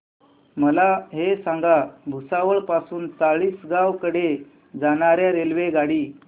मला हे सांगा भुसावळ पासून चाळीसगाव कडे जाणार्या रेल्वेगाडी